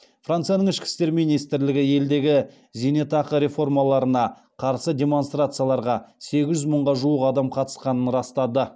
францияның ішкі істер министрлігі елдегі зейнетақы реформаларына қарсы демонстрацияларға сегіз жүз мыңға жуық адам қатысқанын растады